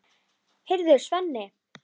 Heyrðu, Svenni!